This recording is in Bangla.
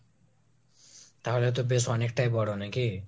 তাহলে তো বেশ অনেকটাই বড়ো নাকি?